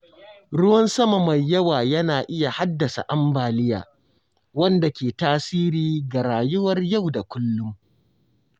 Ruwan sama mai yawa yana iya haddasa ambaliya, wanda ke tasiri ga rayuwar yau da kullum.